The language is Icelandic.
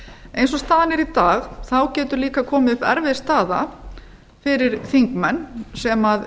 eins og staðan er í dag getur líka komið upp erfið staða fyrir þingmenn sem